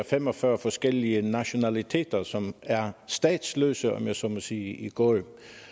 fem og fyrre forskellige nationaliteter som er statsløse om jeg så må sige i går og